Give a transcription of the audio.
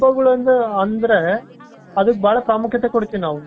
ಹಬ್ಬಗಳಿಂದ ಅಂದ್ರೆ ಅದಕ್ಕೆ ಬಹಳ ಪ್ರಾಮುಖ್ಯತೆ ಕೊಡ್ತೇವೆ ನಾವು.